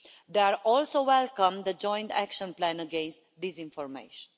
They also welcomed the joint action plan against disinformation.